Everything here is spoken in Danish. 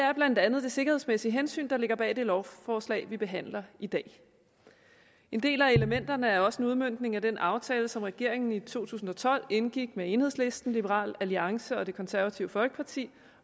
er blandt andet det sikkerhedsmæssige hensyn der ligger bag det lovforslag vi behandler i dag en del af elementerne er også en udmøntning af den aftale som regeringen i to tusind og tolv indgik med enhedslisten liberal alliance og det konservative folkeparti